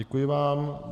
Děkuji vám.